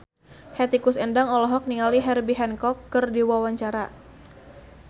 Hetty Koes Endang olohok ningali Herbie Hancock keur diwawancara